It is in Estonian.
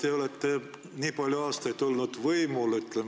Te olete nii palju aastaid oma koalitsiooniga võimul olnud.